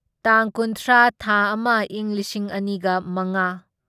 ꯇꯥꯡ ꯀꯨꯟꯊ꯭ꯔꯥ ꯊꯥ ꯑꯃ ꯢꯪ ꯂꯤꯁꯤꯡ ꯑꯅꯤꯒ ꯃꯉꯥ